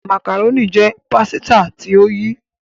macaroni jé pàsìta tó yí.